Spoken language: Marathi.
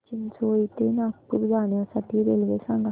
मला चिचोली ते नागपूर जाण्या साठी रेल्वे सांगा